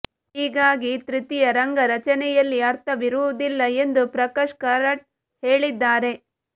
ಹೀಗಾಗಿ ತೃತೀಯ ರಂಗ ರಚನೆಯಲ್ಲಿ ಅರ್ಥವಿರುವುದಿಲ್ಲ ಎಂದು ಪ್ರಕಾಶ್ ಕಾರಟ್ ಹೇಳಿದ್ದಾರೆ